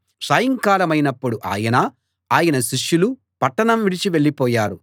సాయంకాలమైనప్పుడు ఆయన ఆయన శిష్యులు పట్టణం విడిచి వెళ్ళిపోయారు